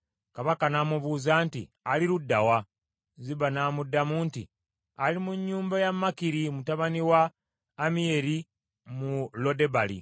Kabaka n’amubuuza nti, “Ali ludda wa?” Ziba n’amuddamu nti, “Ali mu nnyumba ya Makiri mutabani wa Ammiyeri mu Lodebali.”